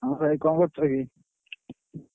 ହଁ ଭାଇ କଣ କରୁଛ କି?